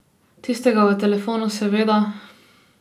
Tistega v telefonu, seveda.